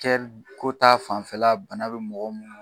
Kɛri ko ta fanfɛla bana be mɔgɔ munnu